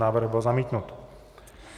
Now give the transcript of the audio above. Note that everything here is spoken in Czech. Návrh byl zamítnut.